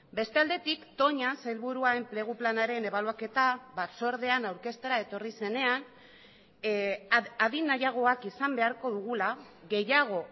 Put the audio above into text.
beste aldetik toña sailburua enplegu planaren ebaluaketa batzordean aurkeztera etorri zenean adin nahiagoak izan beharko dugula gehiago